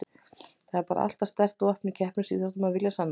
Það er bara alltaf sterkt vopn í keppnisíþróttum að vilja sanna sig.